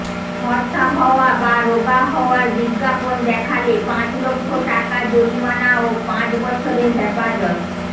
ফরসা হওয়া বা রোগা হওয়ার বিজ্ঞাপন দেখালে পাঁচ লক্ষ টাকা জরিমানা ও পাঁচ বছরের হেপাজত